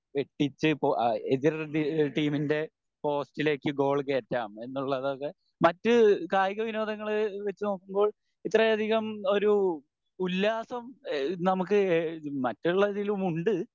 വെട്ടിച്ച് എതിർ എതിർടീമിൻ്റെ പോസ്റ്റിലേക് ഗോൾ കേറ്റാം എന്നുള്ളതൊക്കെ മറ്റ് കായിക വോനോദങ്ങള് വെച്ച് നോക്കുമ്പോ ഇത്രയധികം ഒരു ഉല്ലാസം ഏഹ് നമുക്ക് മറ്റുള്ളതിലും ഉണ്ട്